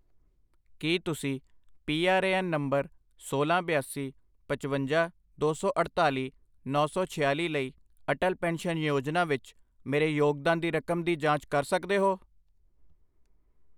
ਕੀ ਤੁਸੀਂ P R A N number ਸੋਲਾਂ, ਬਿਆਸੀ, ਪਚਵੰਜਾ, ਦੋ ਸੌ ਅੜਤਾਲੀ, ਨੌਂ ਸੌ ਛਿਆਲੀ ਲਈ ਅਟਲ ਪੈਨਸ਼ਨ ਯੋਜਨਾ ਵਿੱਚ ਮੇਰੇ ਯੋਗਦਾਨ ਦੀ ਰਕਮ ਦੀ ਜਾਂਚ ਕਰ ਸਕਦੇ ਹੋ?